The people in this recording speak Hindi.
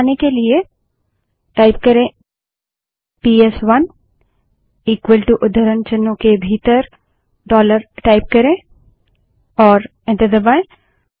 वापस आने के लिए पीएसवन इक्वल टू उद्धरण चिन्हों के भीतर डॉलर टाइप करें और एंटर दबायें